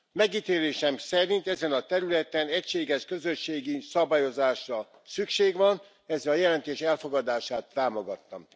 Megítélésem szerint ezen a területen egységes közösségi szabályozásra szükség van, ezért a jelentés elfogadását támogattam.